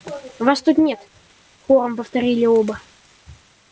вас тут нет хором повторили оба